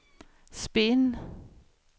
spinn